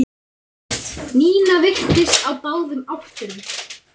Nína virtist á báðum áttum.